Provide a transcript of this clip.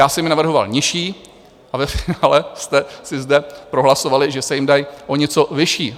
Já jsem je navrhoval nižší, a ve finále jste si zde prohlasovali, že se jim dají o něco vyšší.